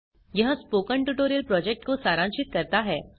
यह spoken tutorial project को सारांशित करता है